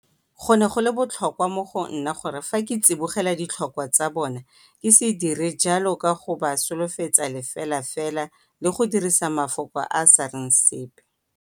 Go ne go le botlhokwa mo go nna gore fa ke tsibogela ditlhokwa tsa bona ke se dire jalo ka go ba solofetsa lefelafela le go dirisa mafoko a a sa reng sepe.